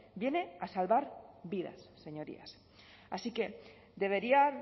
viene a salvar vidas señorías así que deberían